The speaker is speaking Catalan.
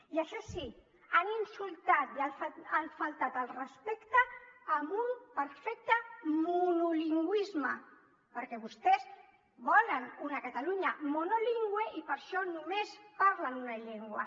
i això sí han insultat i han faltat al respecte amb un perfecte monolingüisme perquè vostès volen una catalunya monolingüe i per això només parlen una llengua